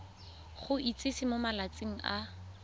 go itsise mo malatsing a